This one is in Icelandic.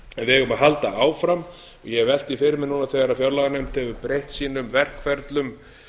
við eigum að halda áfram ég hef velt því fyrir mér núna þegar fjárlaganefnd hefur breytt sínum verkferlum